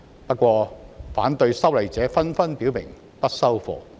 不過，反對修例者紛紛表明"不收貨"。